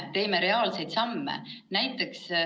Me teeme reaalseid samme.